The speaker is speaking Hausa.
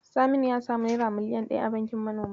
Saminu ya samu naira miliyan ɗaya a bankin manoma.